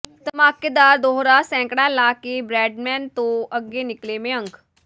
ਧਮਾਕੇਦਾਰ ਦੋਹਰਾ ਸੈਂਕੜਾ ਲਾ ਕੇ ਬਰੈਡਮੈਨ ਤੋਂ ਅੱਗੇ ਨਿਕਲੇ ਮਯੰਕ